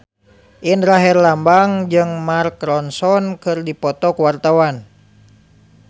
Indra Herlambang jeung Mark Ronson keur dipoto ku wartawan